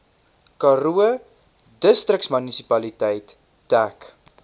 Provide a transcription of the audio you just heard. karoo distriksmunisipaliteit dek